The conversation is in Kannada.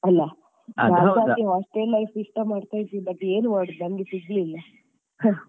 ಅಲಾ? hostel life ಇಷ್ಟ ಮಾಡ್ತ ಇದ್ದೆ ಆದ್ರೆ ಏನ್ ಮಾಡೋದು ನಮಗೆ ಸಿಗ್ಲಿಲ್ಲ ಆಹ್.